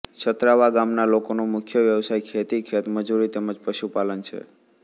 છત્રાવા ગામના લોકોનો મુખ્ય વ્યવસાય ખેતી ખેતમજૂરી તેમ જ પશુપાલન છે